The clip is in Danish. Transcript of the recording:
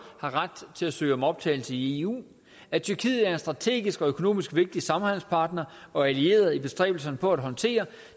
har ret til at søge om optagelse i eu at tyrkiet er en strategisk og økonomisk vigtig samhandelspartner og allieret i bestræbelserne på at håndtere